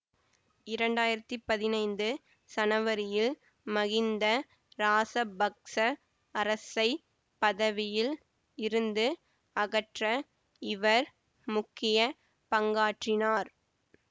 இரண்டாயிரத்தி பதினைந்து சனவரியில் மகிந்த ராசபக்ச அரசைப் பதவியில் இருந்து அகற்ற இவர் முக்கிய பங்காற்றினார்